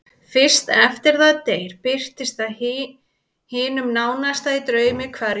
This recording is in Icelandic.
Fyrst eftir að það deyr birtist það hinum nánasta í draumi hverja nótt.